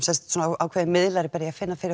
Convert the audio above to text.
ákveðið miðlari að finna fyrir